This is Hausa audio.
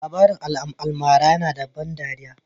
Labarin almara yana da ban ɗariya